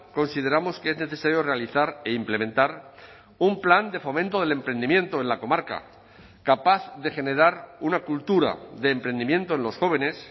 consideramos que es necesario realizar e implementar un plan de fomento del emprendimiento en la comarca capaz de generar una cultura de emprendimiento en los jóvenes